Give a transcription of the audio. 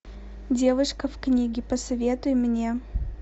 девушка в книге посоветуй мне